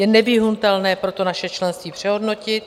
Je nevyhnutelné proto naše členství přehodnotit.